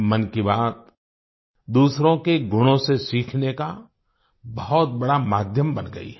मन की बात दूसरों के गुणों से सीखने का बहुत बड़ा माध्यम बन गयी है